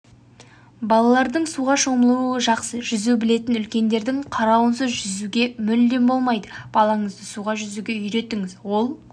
балардың суға шомылуы жақсы жүзу білетін үлкендердің қарауынсыз жүргізуге мүлдем болмайды балаңызды суда жүзуге үйретіңіз ол